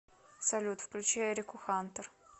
салют включи эрику хантер